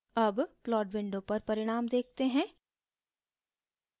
अब plot window पर परिणाम देखते हैं